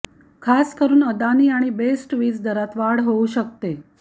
खासकरुन अदानी आणि बेस्ट वीज दरात वाढ होऊ शकते